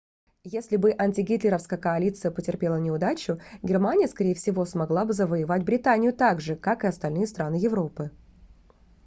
если бы антигитлеровская коалиция потерпела неудачу германия скорее всего смогла бы завоевать британию так же как и остальные страны европы